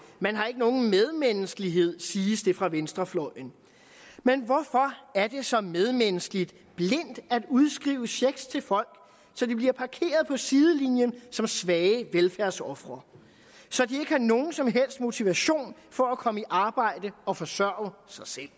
man har ikke nogen medmenneskelighed siges det fra venstrefløjen men hvorfor er det så medmenneskeligt blindt at udskrive checks til folk så de bliver parkeret på sidelinjen som svage velfærdsofre så de ikke har nogen som helst motivation for at komme i arbejde og forsørge sig selv